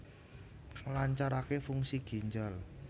Nglancarake fungsi ginjal